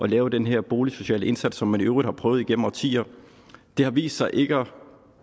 lave den her boligsociale indsats som man i øvrigt har prøvet igennem årtier det har vist sig ikke at